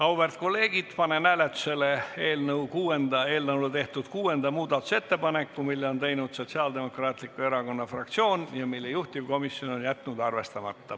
Auväärt kolleegid, panen hääletusele eelnõu kohta tehtud 6. muudatusettepaneku, mille on teinud Sotsiaaldemokraatliku Erakonna fraktsioon ja mille juhtivkomisjon on jätnud arvestamata.